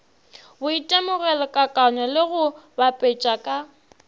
boitemogelokakanywa le go bapetša ka